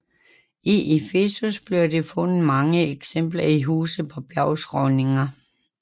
I Efesos blev der fundet mange eksempler i huse på bjergskråninger